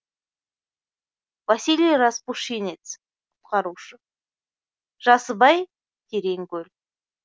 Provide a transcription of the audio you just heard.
василий распушинец құтқарушы жасыбай терең көл